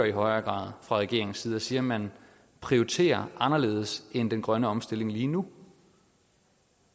i højere grad fra regeringens side og siger at man prioriterer anderledes end den grønne omstilling lige nu